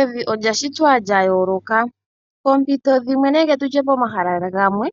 Evi olya shitwa lya yooloka. Poompito dhimwe nenge tu tye pomahala gamwe,